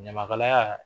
Ɲamakalaya